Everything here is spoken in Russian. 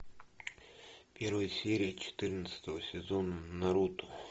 первая серия четырнадцатого сезона наруто